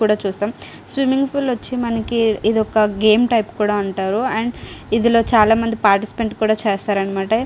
కూడా చూసాం. Swimming pool వచ్చేసి మనకి ఇది ఒక గేమ్ టైప్ కూడా అంటారు అండ్ ఇందులో చాలామంది పాటిస్పేట్ కూడా చేస్తారన్నమాట.